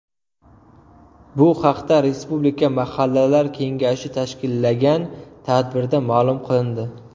Bu haqda Respublika mahallalar kengashi tashkillagan tadbirda ma’lum qilindi.